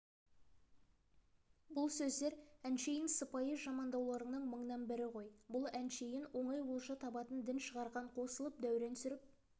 бұл сөздер әншейін сыпайы жамандауларының мыңнан бірі ғой бұл әншейін оңай олжа табатын дін шығарған қосылып дәурен сүріп